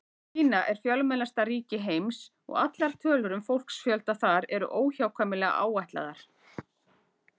Kína er fjölmennasta ríki heims og allar tölur um fólksfjölda þar eru óhjákvæmilega áætlaðar.